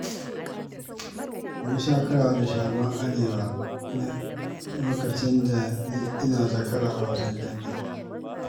Mun sha karawa da Shagon Arewa a lokacin ina zakara a wasan dambe